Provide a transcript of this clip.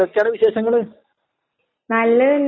ആഹ് നല്ലതെന്നെ. ഇപ്പെന്താ പരിപാടി?